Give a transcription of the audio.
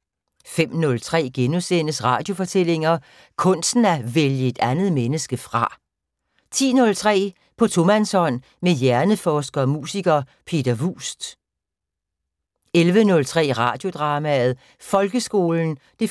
05:03: Radiofortællinger: Kunsten at vælge et andet menneske fra * 10:03: På tomandshånd med hjerneforsker og musiker, Peter Vuust 11:03: Radiodrama: Folkeskolen (1:3)